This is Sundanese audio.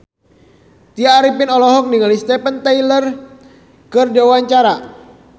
Tya Arifin olohok ningali Steven Tyler keur diwawancara